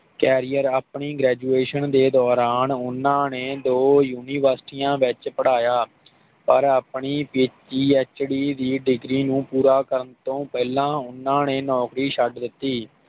Career ਆਪਣੀ graduation ਦੇ ਦੌਰਾਨ ਓਹਨਾ ਨੇ ਦੋ ਯੂਨੀਵਰਸਿਟੀਆਂ ਵਿਚ ਪੜ੍ਹਾਇਆ ਪਰ ਆਪਣੀ ਪੀ. ਐਚ. ਡੀ. ਦੀ ਡਿਗਰੀ ਨੂੰ ਪੂਰਾ ਕਰਨ ਤੋਂ ਪਹਿਲਾ ਉਹਨਾਂ ਨੇ ਨੌਕਰੀ ਛੱਡ ਦਿੱਤੀ